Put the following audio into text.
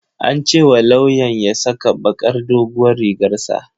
An ce wa lawyan ya saka bakar doguwar rigar sa